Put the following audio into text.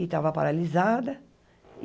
e estava paralisada.